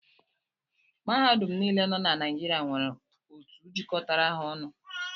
Mahadum niile nọ na Naijiria nwere otu jikọtara ha ọnụ